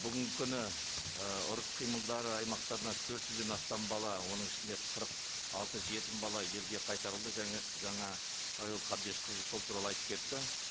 бүгінгі күні ы ұрыс қимылдар аймақтарынан төрт жүзден астам бала оның ішінде қырық алты жетім бала елге қайтарылды жаңа айгүл қабдешқызы сол туралы айтып кетті